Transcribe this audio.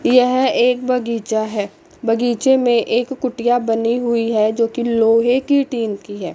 यह एक बगीचा है बगीचे में एक कुटिया बनी हुई है जोकि लोहे की टीन की है।